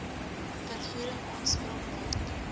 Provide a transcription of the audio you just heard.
vergoeding aanspraak maak